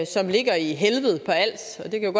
som ligger i helved på als og det kan